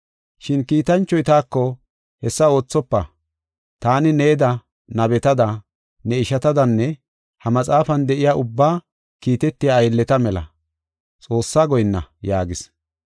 Shin kiitanchoy taako, “Hessa oothofa! Taani needa, nabetada ne ishatadanne ha maxaafan de7iya ubbaa kiitetiya aylleta mela; Xoossaa goyinna” yaagis.